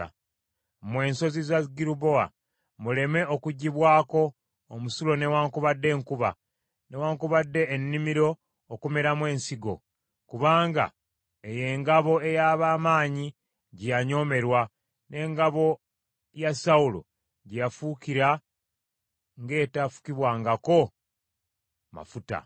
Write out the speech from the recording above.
“Mmwe ensozi za Girubowa, muleme okugwibwako omusulo newaakubadde enkuba, newaakubadde ennimiro okumeramu ensigo. Kubanga eyo engabo ey’ab’amaanyi gye yanyoomerwa n’engabo ya Sawulo, gye yafuukira ng’etafukibwangako mafuta.